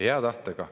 Hea tahtega!